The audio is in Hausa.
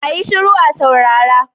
A yi shiru a saurara!